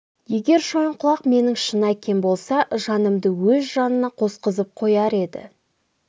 егер шойынқұлақ менің шын әкем болса жанымды өз жанына қосқызып қояр еді